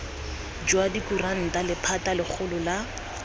jwa dikuranta lephata legolo la